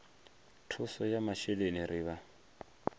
thuso ya masheleni ri vha